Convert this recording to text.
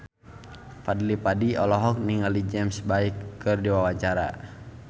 Fadly Padi olohok ningali James Bay keur diwawancara